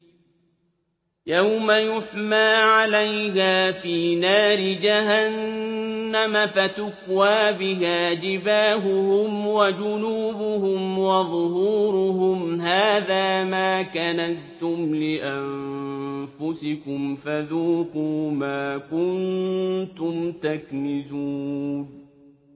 يَوْمَ يُحْمَىٰ عَلَيْهَا فِي نَارِ جَهَنَّمَ فَتُكْوَىٰ بِهَا جِبَاهُهُمْ وَجُنُوبُهُمْ وَظُهُورُهُمْ ۖ هَٰذَا مَا كَنَزْتُمْ لِأَنفُسِكُمْ فَذُوقُوا مَا كُنتُمْ تَكْنِزُونَ